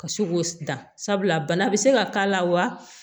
Ka se k'o dan sabula bana be se ka k'a la wa